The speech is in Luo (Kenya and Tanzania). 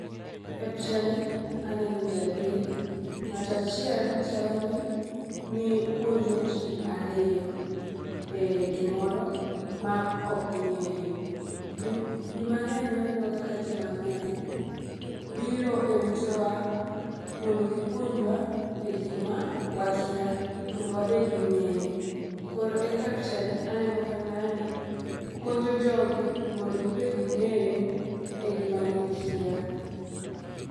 E pichani aneno ji adek, nga'to achiel chalo ni puonjo ji ariyo,e gimoro ma ok ging'eyo. Ji mang'eny wanenoga ka ji mang'eny biro e utewa mondo gipuonjwa e gik ma wakia mondo wabed gi ng'eyo. Koro e kaka pichani aneno ka ng'ani puonjo jogi mondo gibed gi ng'eyo e gima gikia.